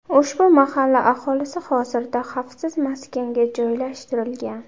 Ushbu mahalla aholisi hozirda xavfsiz maskanga joylashtirilgan.